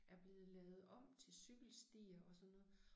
Er blevet lavet om til cykelstier og sådan noget